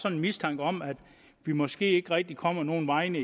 en mistanke om at vi måske ikke rigtig kommer nogen vegne